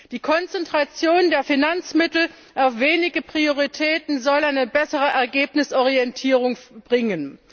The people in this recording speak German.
Die Konzentration der Finanzmittel auf wenige Prioritäten soll eine bessere Ergebnisorientierung bringen.